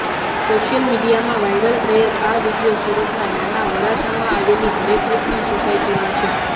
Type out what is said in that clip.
social મીડિયામાં viral થયેલ આ વિડિયો સુરતના નાના વરાછામાં આવેલી હરેકૃષ્ણ સોસાયટી છે